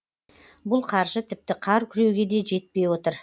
бұл қаржы тіпті қар күреуге де жетпей отыр